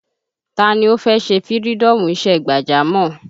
Taa ni ó fẹ́ ṣe fïrídọ́ọ̀mù isẹ́ gbàjámọ̀?